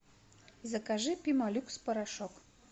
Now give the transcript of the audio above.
закажи пемолюкс порошок